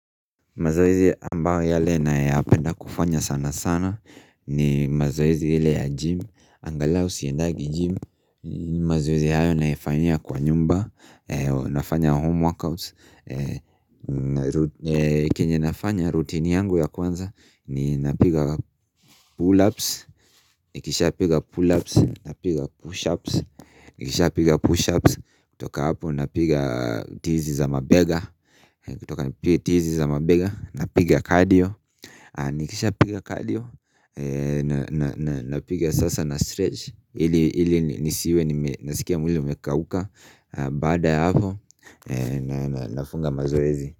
Mazoezi ambayo yale nayapenda kufanya sana sana ni mazoezi ile ya gym angalau siendagi gym mazoezi hayo naifanyia kwa nyumba nafanya home workouts Kenye nafanya routine yangu ya kwanza ni napiga pull ups Nikishapiga pull ups, napiga push ups Nikisha piga push ups, kutoka hapo napiga tizi za mabega kutoka nipige tizi za mabega na piga cardio Nikishapiga cardio na Napiga sasa na stretch ili nisiwe nasikia mwili umekauka Baada ya hapo Nafunga mazoezi.